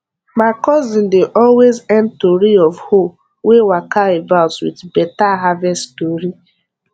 my cousin dey always end tori of hoe wey waka about with better harvest story